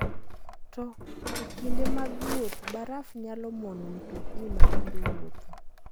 To e kinde mag wuoth, baraf nyalo mono mtokni matindo wuotho.